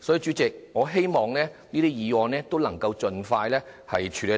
所以，主席，我希望這些議案均能盡快獲得處理，